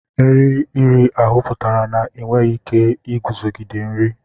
Nri iri ahụ pụtara na ị nweghị ike iguzogide nri.